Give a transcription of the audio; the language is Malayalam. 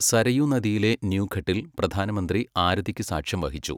സരയൂ നദിയിലെ ന്യൂഘട്ടിൽ പ്രധാനമന്ത്രി ആരതിക്കു സാക്ഷ്യംവഹിച്ചു.